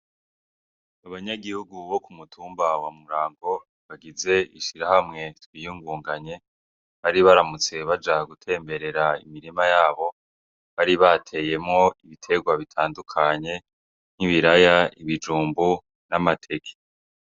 Abanyagihugu bo ku mutumba wa Murango, bagize ishirahamwe "Twiyungunganye", bari baramutse baja gutemberera imirima yabo bari bateyemwo ibiterwa bitandukanye nk'ibiraya, ibijumbu n'amateke.